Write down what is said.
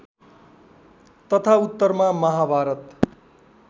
तथा उत्तरमा माहाभारत